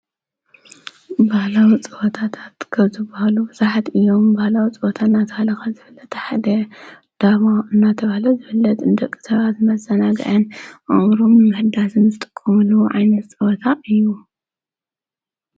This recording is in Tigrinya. ባህላዉ ፅወታት ትከዙባሃሉ ዙሕድ ኢዮም ባላዊ ፅወታ እናተሃለኻት ዝብለታ ሕድ ዳማ እናተብለ ዘብለት ድቂ ሰራ ዘመዛናገየን ኣምሩም ምሕዳስንስጥቁምሉ ዓይነስ ጸወታ እዩ።